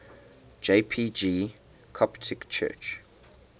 jpg coptic church